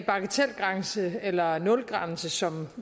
bagatelgrænse eller nulgrænse som